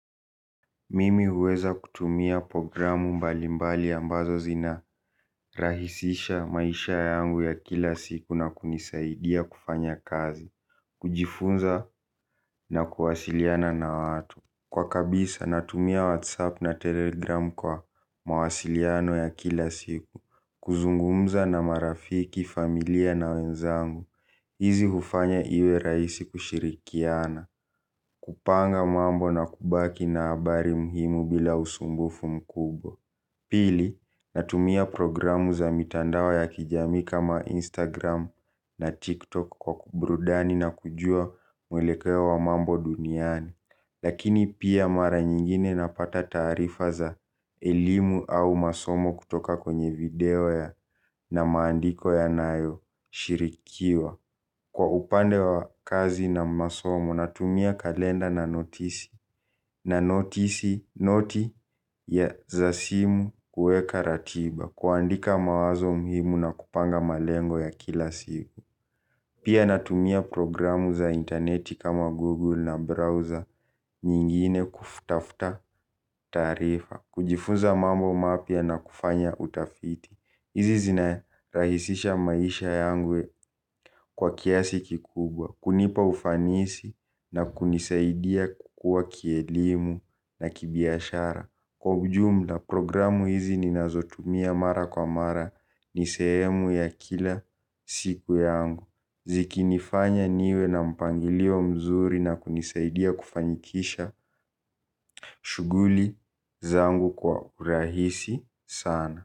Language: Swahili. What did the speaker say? Mimi huweza kutumia programu mbali mbali ambazo zinarahisisha maisha yangu ya kila siku na kunisaidia kufanya kazi, kujifunza. Nakuasiliana na watu kwa kabisa, natumia whatsapp na telegramu kwa mawasiliano ya kila siku, kuzungumza na marafiki, familia na wenzangu, hizi hufanya rahisi kushirikiana. Kupanga mambo na kubaki na habari muhimu bila usumbufu mkubwa. Pili, natumia programu za mitandao ya kijamii kama Instagram na TikTok kwa kuburudani na kujua mwelekeo wa mambo duniani, lakini pia mara nyingine napata taarifa za elimu au masomo kutoka kwenye video ya na maandiko yanayoshirikiwa. Kwa upande wa kazi na masomo, natumia kalenda na notisi, na noti za simu kuweka ratiba, kuandika mawazo muhimu na kupanga malengo ya kila siku. Pia natumia programu za interneti kama 'Google' na 'browser' nyingine kutafta tarifa, kujifunza mambo mapya na kufanya utafiti. Hizi zinarahisisha maisha yangu kwa kiasi kikubwa. Kunipa ufanisi na kunisaidia kukua kielimu na kibiashara. Kwa ujumla programu hizi ninazotumia mara kwa mara ni sehemu ya kila siku yangu. Zikinifanya niwe na mpangilio mzuri na kunisaidia kufanikisha shughuli zangu kwa urahisi sana.